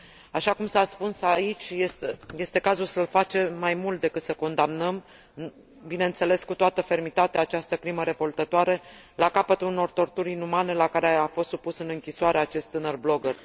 Așa cum s a spus aici, este cazul să facem mai mult decât să condamnăm, bineînțeles, cu toată fermitatea, această crimă revoltătoare, la capătul unor torturi inumane la care a fost supus în închisoare acest tânăr blogger.